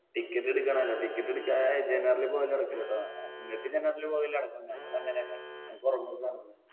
ticket എടുക്കണോലോ ticket എടുക്കാത്തെ general ൽ പോകല് നടക്കൂല്ലട്ടാ ഇങ്ങക്ക് general പോകല് നടക്കും. ഞങ്ങൾ അങ്ങനെ അല്ല. ഞങ്ങൾക്ക് ഉറങ്ങൊക്കെ വേണം.